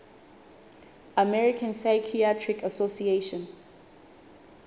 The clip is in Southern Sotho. american psychiatric association